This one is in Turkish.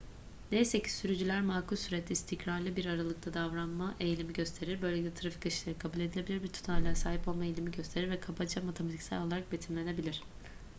neyse ki sürücüler makul surette istikrarlı bir aralıkta davranma eğilimi gösterir böylelikle trafik akışları kabul edilebilir bir tutarlılığa sahip olma eğilimi gösterir ve kabaca matematiksel olarak betimlenebilir